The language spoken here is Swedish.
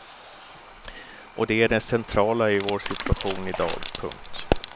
Och det är det centrala i vår situation idag. punkt